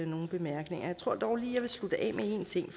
nogen bemærkninger jeg tror dog lige jeg vil slutte af med en ting